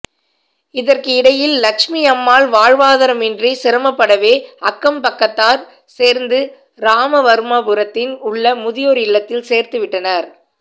இதற்கு இடையில் லட்சுமியம்மாள் வாழ்வாதாரமின்றி சிரமப்படவே அக்கம் பக்கத்தார் சேர்ந்து ராமவர்மாபுரத்தில் உள்ள முதியோர் இல்லத்தில் சேர்த்துவிட்டனர்